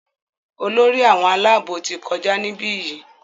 Olórí àwọn Àlàabò tí kọjá nibiyi.